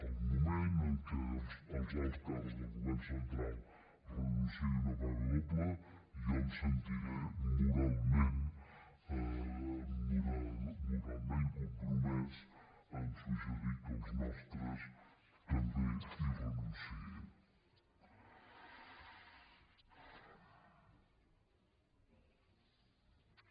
al moment en què els alts càrrecs del go·vern central renunciïn a una paga doble jo em sentiré moralment compromès a suggerir que els nostres tam·bé hi renunciïn